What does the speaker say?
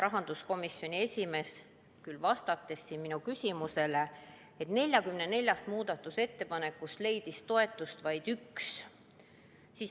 Rahanduskomisjoni esimees, vastates täna minu küsimusele, ütles, et 44 muudatusettepanekust leidis toetust vaid üks.